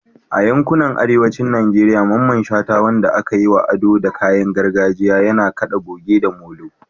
A yankunan arewacin Najeriya, Mamman Shata, wanda aka yi wa ado da kayan gargajiya, yana kada goge da molo.